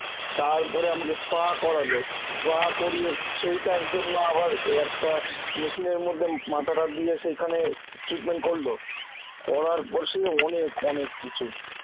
তারপরে আমাকে SPA করালো, SPA করিয়ে সেইটার জন্য আবার ওই একটা machine এর মধ্যে মাথাটা দিয়ে সেইখানে treatment করলো করার পর সে অনেক অনেক কিছু